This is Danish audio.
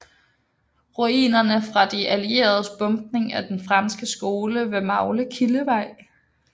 Ruinerne fra de allieredes bombning af den franske skole ved Maglekildevej